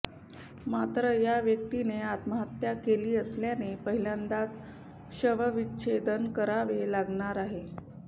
मात्र या व्यक्तीने आत्महत्या केली असल्याने पहिल्यांदाच शवविच्छेदन करावे लागणार आहे